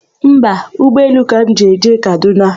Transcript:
Mba, ụgbọelu ka m ga-eji jee Kadụna.